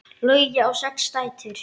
Logi á sex dætur.